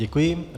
Děkuji.